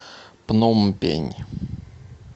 пномпень